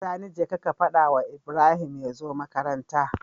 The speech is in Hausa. Sani jeka ka fadawa Ibrahim yazo makaranta